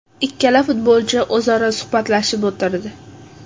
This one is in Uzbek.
Ikkala futbolchi o‘zaro suhbatlashib o‘tirdi.